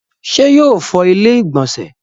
ṣé yóò fọ ilẹ́ ìgbọ̀nsẹ̀